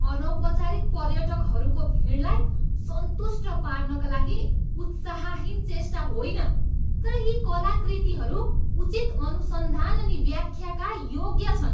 अनौपचारिक पर्यटकहरूको भिडलाई सन्तुष्ट पार्नका लागि उत्साहहीन चेष्टा होइन तर यी कलाकृतिहरू उचित अनुसन्धान अनि व्याख्याका योग्य छन्।